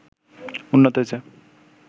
উন্নত হয়েছে